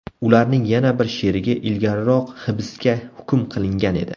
Ularning yana bir sherigi ilgariroq hibsga hukm qilingan edi.